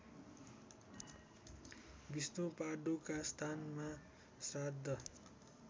विष्णुपादुका स्थानमा श्राद्ध